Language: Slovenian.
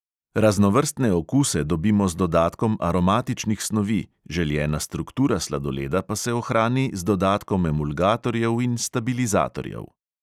Raznovrstne okuse dobimo z dodatkom aromatičnih snovi, željena struktura sladoleda pa se ohrani z dodatkom emulgatorjev in stabilizatorjev.